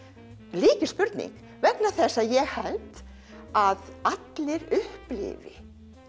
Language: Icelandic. lykilspurning vegna þess að ég held að allir upplifi